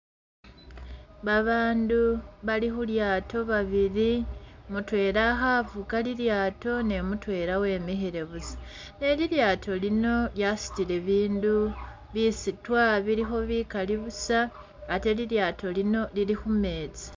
Babandu bali khu'lyaato bibili mutwela khanvuga lilyaato ne mutwela wemikhile buusa ne'lilyaato lino lyasutile bindubisutwa bikaali buusa ate lilyaato lino Lili khumeetsi